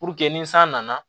Puruke ni san nana